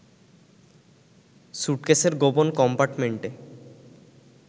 সুটকেসের গোপন কম্পার্টমেন্টে